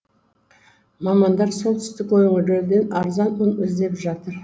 мамандар солтүстік өңірлерден арзан ұн іздеп жатыр